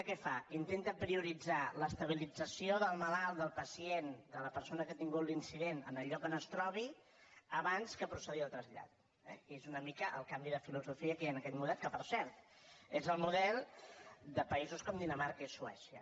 què fa intenta prioritzar l’estabilització del malalt del pacient de la persona que ha tingut l’incident en el lloc on es trobi abans que procedir al trasllat eh i és una mica el canvi de filosofia que hi ha en aquest model que per cert és el model de països com dinamarca i suècia